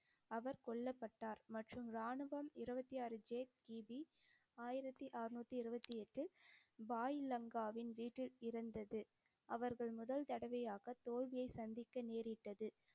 அவர் கொல்லப்பட்டார் மற்றும் ராணுவம் இருபத்தி ஆறு ஜே சி பி ஆயிரத்தி அறநூத்தி இருபத்தி எட்டு பாய் லங்காவின் வீட்டில் இருந்தது. அவர்கள் முதல் தடவையாகத் தோல்வியைச் சந்திக்க நேரிட்டது.